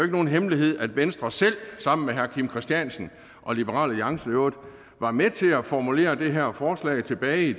nogen hemmelighed at venstre selv sammen med herre kim christiansen og liberal alliance i øvrigt var med til at formulere det her forslag tilbage i